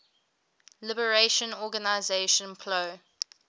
liberation organization plo